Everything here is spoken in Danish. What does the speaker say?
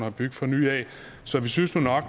at bygge fra nyt af så vi synes nu nok